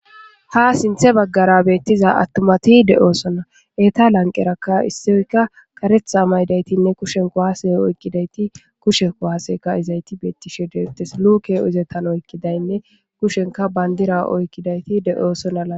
Ha sinthe baggara beettiza attomati de7oosonna. Eta lanqerakka issioyka karetha oyqqidaytinne kushen kowaase oykkidayti kushenko waaseyka izayti beettishe detes luke uzetan oykkidaynne kushenka bayndira oykkidayti de7oosona.